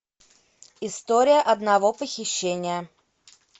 история одного похищения